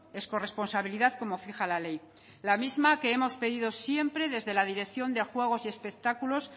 es corresponsabilidad como fija la ley la misma que hemos pedido siempre desde la dirección de juego y espectáculos